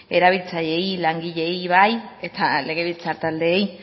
erabiltzaileei langileei baita legebiltzar taldeei